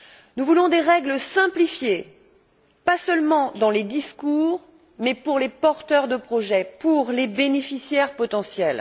Nous voulons des règles simplifiées, pas seulement dans les discours, mais pour les porteurs de projets, pour les bénéficiaires potentiels.